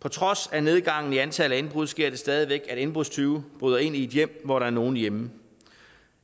på trods af nedgangen i antallet af indbrud sker det stadig væk at indbrudstyve bryder ind i et hjem hvor der er nogen hjemme